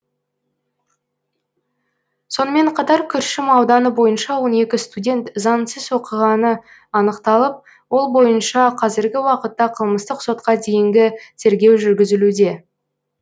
сонымен қатар күршім ауданы бойынша он екі студент заңсыз оқығаны анықталып ол бойынша қазіргі уақытта қылмыстық сотқа дейінгі тергеу жүргізілуде